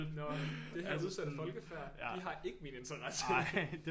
Nå det her udsatte folkefærd de har ikke min interesse